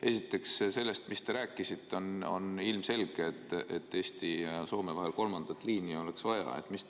Esiteks, selle põhjal, mis te rääkisite, on ilmselge, et Eesti ja Soome vahel oleks vaja kolmandat liini.